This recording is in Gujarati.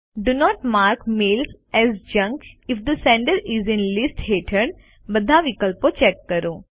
do not mark mail as junk if the sender is in list હેઠળ બધા વિકલ્પો ચેક કરો